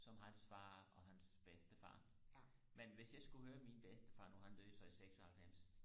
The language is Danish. som hans far og hans bedstefar men hvis jeg skulle høre min bedstefar nu han døde så i seksoghalvfems